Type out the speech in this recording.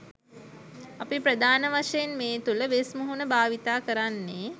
අපි ප්‍රධාන වශයෙන් මේ තුළ වෙස් මුහුණ භාවිත කරන්නේ